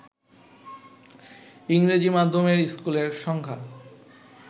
ইংরেজি মাধ্যমের স্কুলের সংখ্যা